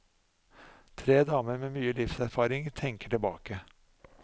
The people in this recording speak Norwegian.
Tre damer med mye livserfaring tenker tilbake.